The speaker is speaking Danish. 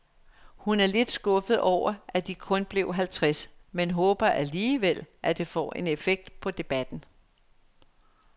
Hun er lidt skuffet over, at de kun blev halvtreds, men håber alligevel, at det får en effekt på debatten.